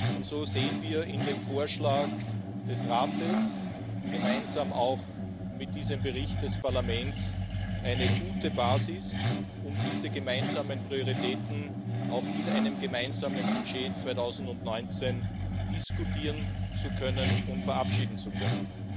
Und so sehen wir in dem Vorschlag des Rates gemeinsam auch mit diesem Bericht des Parlaments eine gute Basis, um diese gemeinsamen Prioritäten in einem gemeinsamen Budget 2019 diskutieren zu können und verabschieden zu können.